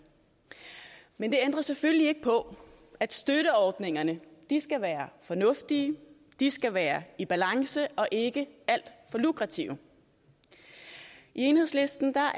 men det ændrer selvfølgelig ikke på at støtteordningerne skal være fornuftige de skal være i balance og ikke alt for lukrative i enhedslisten er